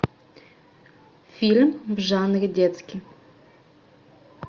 фильм в жанре детский